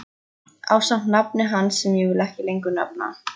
Ásamt nafni hans sem ég vil ekki lengur nefna.